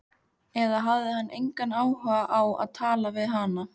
Eða hafði hann engan áhuga á að tala við hana?